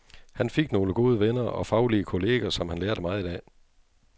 Han fik nogle gode venner og faglige kolleger, som han lærte meget af.